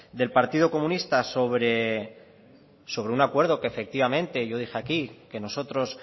del partido comunista sobre un acuerdo que efectivamente yo dije aquí que nosotros